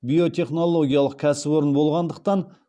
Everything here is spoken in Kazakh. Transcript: биотехнологиялық кәсіпорын болғандықтан